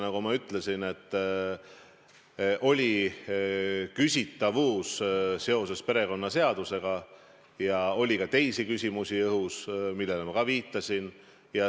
Nagu ma ütlesin, oli küsitavusi seoses perekonnaseadusega ja õhus oli ka teisi küsimusi, millele ma juba viitasin.